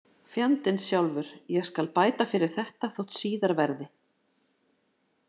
Fjandinn sjálfur, ég skal bæta fyrir þetta þótt síðar verði.